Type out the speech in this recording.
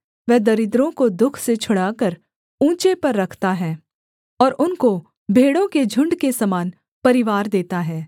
वह दरिद्रों को दुःख से छुड़ाकर ऊँचे पर रखता है और उनको भेड़ों के झुण्ड के समान परिवार देता है